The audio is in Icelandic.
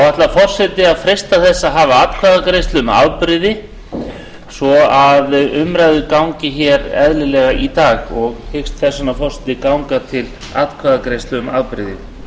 ætlar forseti að freista þess að hafa atkvæðagreiðslu um afbrigði svo umræður hér gangi eðlilega í dag forseti hyggst þess vegna ganga til atkvæðagreiðslu um afbrigði